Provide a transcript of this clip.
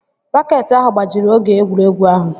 Raket ahụ gbajiri oge egwuregwu ahụ